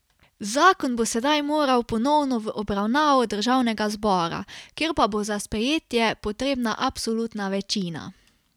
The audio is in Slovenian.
Zakon bo sedaj moral ponovno v obravnavo državnega zbora, kjer pa bo za sprejetje potrebna absolutna večina.